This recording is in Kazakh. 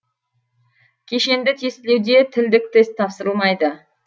кешенді тестілеуде тілдік тест тапсырылмайды